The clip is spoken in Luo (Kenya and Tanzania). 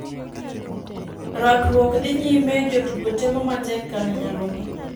Rakruok dhi nyime ,jotugo temo matek kar nyalo gi.